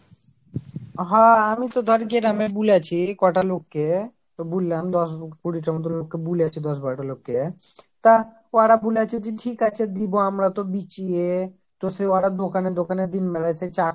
হ আমি তো ধর গ্রামে বলেছি কটা লোকে তো ব্লুম দশ কুড়িটার মতো লোককে বুলেছি দশ বারোটা লোককে তা ওরা বলেছে যে ঠিক আছে দিবো আমরা তো বিছিয়ে তো সে হটাৎ দোকানে দোকানে দিন বেলায় সে চা